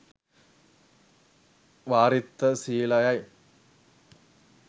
වාරිත්‍ර ශීලයයි.